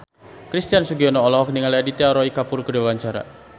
Christian Sugiono olohok ningali Aditya Roy Kapoor keur diwawancara